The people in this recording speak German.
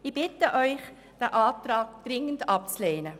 Ich bitte Sie dringend, den Antrag abzulehnen.